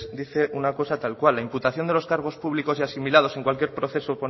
dice una cosa tal cual la imputación de los cargos públicos o asimilados en cualquier proceso